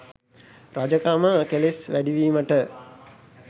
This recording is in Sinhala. රජකම කෙලෙස් වැඩීමට